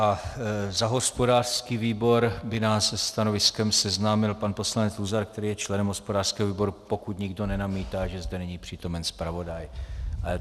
A za hospodářský výbor by nás se stanoviskem seznámil pan poslanec Luzar, který je členem hospodářského výboru, pokud nikdo nenamítá, že zde není přítomen zpravodaj.